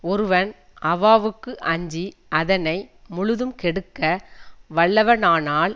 ஒருவன் அவாவுக்கு அஞ்சி அதனை முழுதும் கெடுக்க வல்லவனானால்